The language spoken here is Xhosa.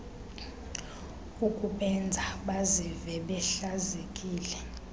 ukubenza bazive behlazekile